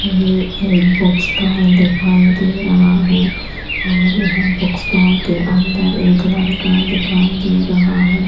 ये एक book stall दिखाई दे रहा है और यहाँ बुक स्टॉल के अंदर एक लड़का दिखाई दे रहा है।